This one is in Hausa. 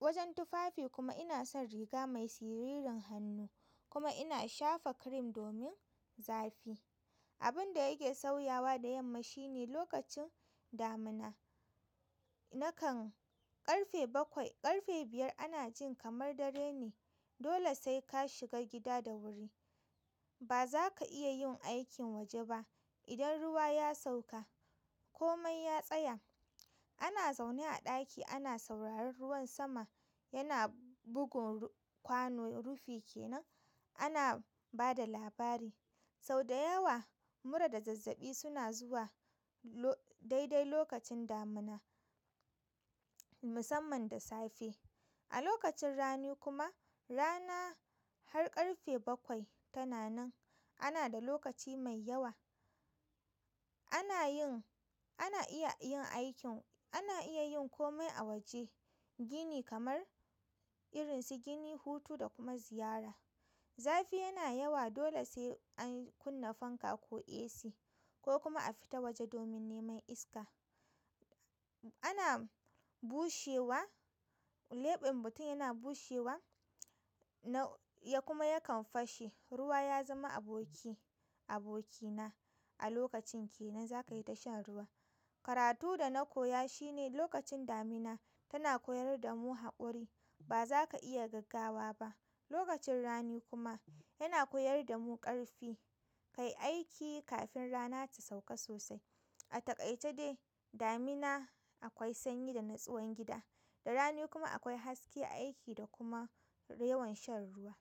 wajen tufafi kuma ina son riga mai siririn hannu kuma ina shafa cream domin zafi. Abin da yake sauyawa da yamma shi ne lokacin damina. Nakan ƙarfe bakwai, ƙarfe biyar ana jin kamar dare ne. Dole sai ka shiga gida da wuri. Ba za ka iya yin aikin waje ba idan ruwa ya sauka ko mai ya tsaya. Ana zaune a ɗaki ana sauraron ruwan sama yana bugun kwano rufi kenan. Ana ba da labari. Sau da yawa mura da zazzaɓi suna zuwa lo-- daidai lokacin damina musamman da safe. A lokacin rani kuma rana har ƙarfe bakwai tana nan. Ana da lokaci mai yawa. Ana yin, ana iya yin aikin, ana iya yin komai a waje. Gini kamar irin su gini, hutu da kuma ziyara. Zafi yana yawa dole sai an kunna fanka ko AC ko kuma a fita waje domin neman iska. Ana bushewa, leɓen mutum yana bushewa na ya kuma yakan fashe. Ruwa ya zama aboki, abokina a lokacin kenan za ka yi ta shan ruwa. Karatu da na koya shi ne lokacin damina tana koyar da mu haƙuri. Ba za ka iya gaggawa ba. Lokacin rani kuma yana koyar da mu ƙarfi. Kayi aiki kafin rana ta sauka sosai. A taƙaice dai damina akwai sanyi da nutsuwan gida da rani kuma akwai haske, aiki da kuma yawan shan ruwa.